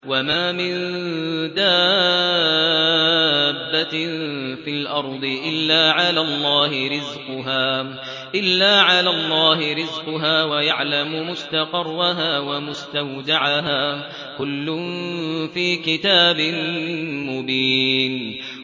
۞ وَمَا مِن دَابَّةٍ فِي الْأَرْضِ إِلَّا عَلَى اللَّهِ رِزْقُهَا وَيَعْلَمُ مُسْتَقَرَّهَا وَمُسْتَوْدَعَهَا ۚ كُلٌّ فِي كِتَابٍ مُّبِينٍ